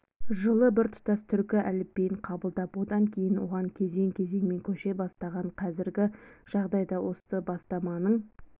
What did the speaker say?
жылы біртұтас түркі әліпбиін қабылдап одан кейін оған кезең-кезеңмен көше бастаған қазіргі жағдайда осы бастаманың